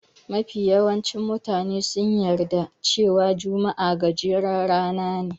Mafi yawancin mutane sun yarda cewa juma'a gajeren rana ne.